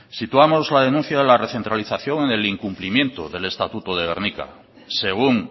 situamos la denuncia de la recentralización en el incumplimiento del estatuto de gernika según